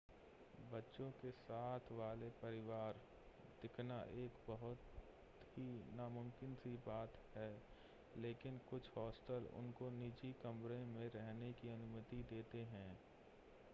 बच्चों के साथ वाले परिवार दिखना एक बहुत ही नामुमकिन सी बात है लेकिन कुछ होस्टल उनको निजी कमरे में रहने की अनुमति देते हैं